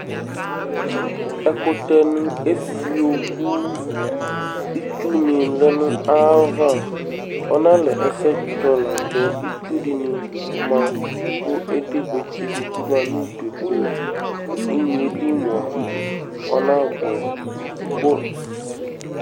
Ɛkʋtɛnɩ efio kʋ itsunɩ lɛ nʋ ayava Ɔnalɛ ɛsɛtsɔ la adzɔ Itsu dɩnɩ ma kʋ edigbatse dɩ bɩ ma nʋ udu kʋ inye yɛ li mʋa, ɔnabʋɛ kʋ